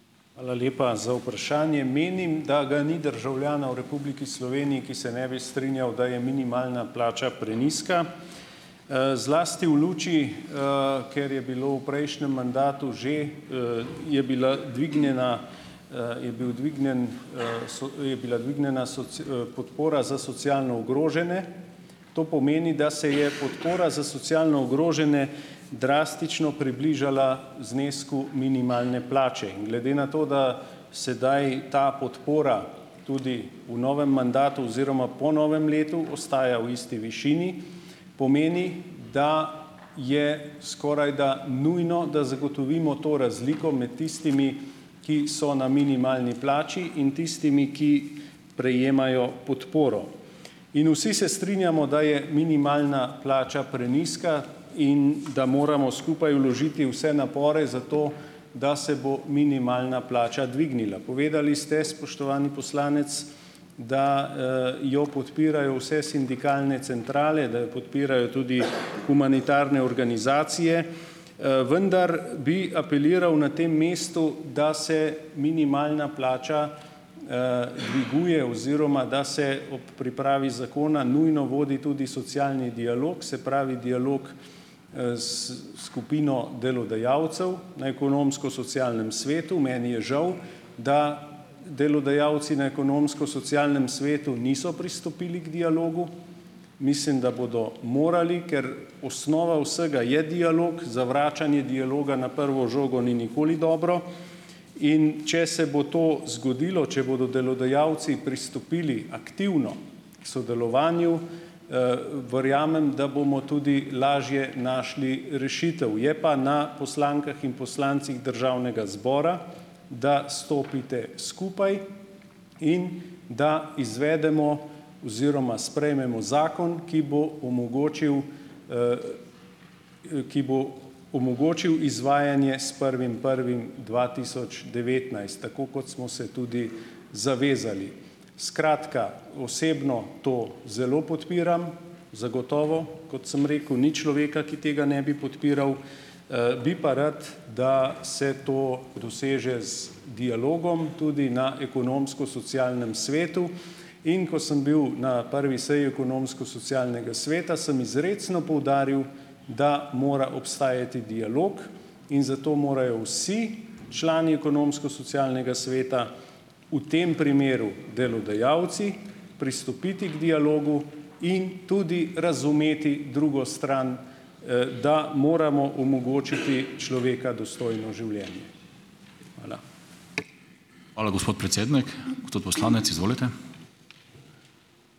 Hvala lepa za vprašanje. Menim, da ga ni državljana v Republiki Sloveniji, ki se ne bi strinjal, da je minimalna plača prenizka, zlasti v luči, ker je bilo v prejšnjem mandatu že, je bila dvignjena je bil dvignjen je bila dvignjena podpora za socialno ogrožene. To pomeni, da se je podpora za socialno ogrožene drastično približala znesku minimalne plače. In glede na to, da sedaj ta podpora tudi v novem mandatu oziroma po novem letu ostaja v isti višini, pomeni, da je skorajda nujno, da zagotovimo to razliko med tistimi, ki so na minimalni plači, in tistimi, ki prejemajo podporo. In vsi se strinjamo, da je minimalna plača prenizka in da moramo skupaj vložiti vse napore za to, da se bo minimalna plača dvignila. Povedali ste, spoštovani poslanec, da jo podpirajo vse sindikalne centrale, da jo podpirajo tudi humanitarne organizacije, vendar bi apeliral na tem mestu, da se minimalna plača dviguje oziroma da se ob pripravi zakona nujno vodi tudi socialni dialog, se pravi dialog s skupino delodajalcev na Ekonomsko-socialnem svetu. Meni je žal, da delodajalci na Ekonomsko-socialnem svetu niso pristopili k dialogu. Mislim, da bodo morali, ker osnova vsega je dialog, zavračanje dialoga na prvo žogo ni nikoli dobro. In če se bo to zgodilo, če bodo delodajalci pristopili aktivno k sodelovanju, verjamem, da bomo tudi lažje našli rešitev. Je pa na poslankah in poslancih Državnega zbora, da stopite skupaj in da izvedemo oziroma sprejmemo zakon, ki bo omogočil ki bo omogočil izvajanje s prvim prvim dva tisoč devetnajst, tako kot smo se tudi zavezali. Skratka, osebno to zelo podpiram. Zagotovo, kot sem rekel, ni človeka, ki tega ne bi podpiral. Bi pa rad, da se to doseže z dialogom tudi na Ekonomsko-socialnem svetu. In ko sem bil na prvi seji Ekonomsko-socialnega sveta, sem izrecno poudaril, da mora obstajati dialog in zato morajo vsi člani Ekonomsko-socialnega sveta, v tem primeru delodajalci, pristopiti k dialogu in tudi razumeti drugo stran, da moramo omogočiti človeka dostojno življenje. Hvala.